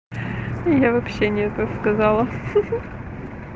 я вообще не это сказала хи-хи